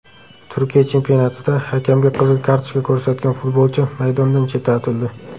Turkiya chempionatida hakamga qizil kartochka ko‘rsatgan futbolchi maydondan chetlatildi.